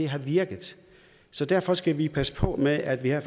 har virket så derfor skal vi passe på med at vi her